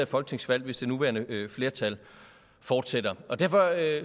folketingsvalg hvis det nuværende flertal fortsætter derfor